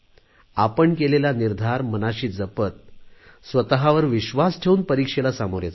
आपण केलेला निर्धार मनाशी जपत स्वतवर विश्वास ठेवून परीक्षांना सामोरे जा